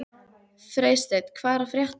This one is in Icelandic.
Freysteinn, hvað er að frétta?